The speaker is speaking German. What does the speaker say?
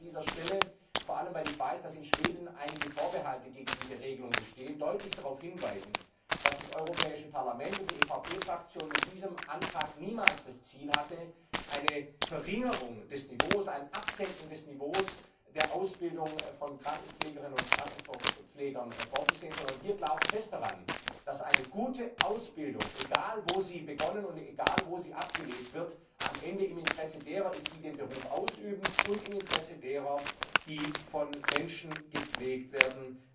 Ich möchte an dieser Stelle vor allem weil ich weiß, dass in Schweden einige Vorbehalte gegen diese Regelung bestehen deutlich darauf hinweisen, dass das Europäische Parlament und die EVP Fraktion mit diesem Antrag niemals das Ziel hatte, eine Verringerung des Niveaus, ein Absenken des Niveaus der Ausbildung von Krankenpflegerinnen und Krankenpflegern vorzusehen, sondern wir glauben fest daran, dass eine gute Ausbildung egal wo sie begonnen und egal wo sie abgelegt wird am Ende im Interesse derer ist, die den Beruf ausüben, und im Interesse derer, die von Menschen gepflegt werden